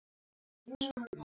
Árið næsta, krunk og krá!